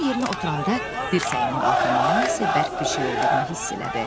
Tom yerinə oturanda dirsəyinin altında nəyisə bərk bir şey olduğunu hiss elədi.